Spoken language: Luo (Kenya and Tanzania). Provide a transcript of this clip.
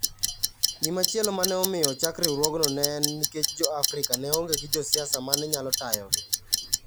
Gimachielo ma ne omiyo ochak riwruogno ne en nikech Jo-Afrika ne onge gi josiasa ma ne nyalo tayogi.